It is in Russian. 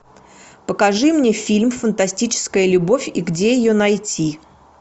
покажи мне фильм фантастическая любовь и где ее найти